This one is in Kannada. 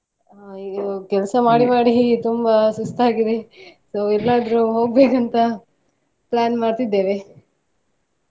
ಇದು ಕೆಲ್ಸ ಮಾಡಿ ಮಾಡಿ ಹೀಗೆ ತುಂಬ ಸುಸ್ತಾಗಿದೆ so ಎಲ್ಲಾದ್ರೂ ಹೋಗ್ಬೇಕಂತ plan ಮಾಡ್ತಾ ಇದ್ದೇವೆ.